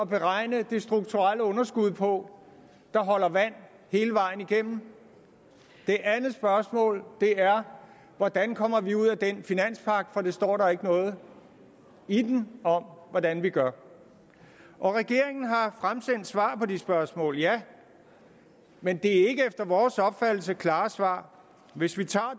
beregne det strukturelle underskud på der holder vand hele vejen igennem det andet spørgsmål er hvordan kommer vi ud af den finanspagt for der står ikke noget i den om hvordan vi gør regeringen har fremsendt svar på de spørgsmål ja men det er efter vores opfattelse ikke klare svar hvis vi tager